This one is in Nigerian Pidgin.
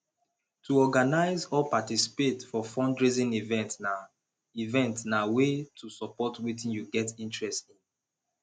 to organize or participate for fundraising event na event na way to support wetin you get interest in